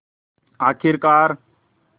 आख़िरकार